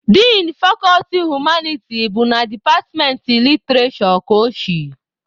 Din fakọlti humaniti bụ na departmentị literishure ka o si.